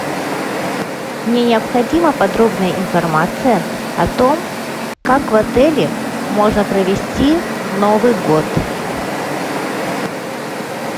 мне необходима подробная информация о том как в отеле можно провести новый год